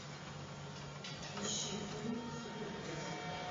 ищи фильм супер пес